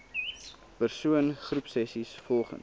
persoon groepsessies volgens